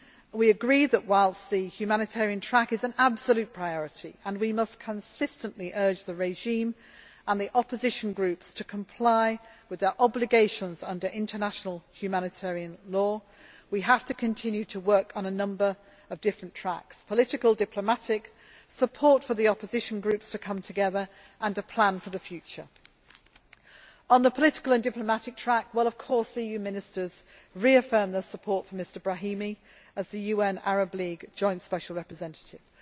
We agree that, whilst the humanitarian track is an absolute priority and we must consistently urge the regime and the opposition groups to comply with their obligations under international humanitarian law, we have to continue to work on a number of different tracks political, diplomatic and support for the opposition groups to come together and plan for the future. On the political and diplomatic track, the EU Ministers reaffirmed their support for Mr Brahimi as the UN Arab League Joint Special Representative.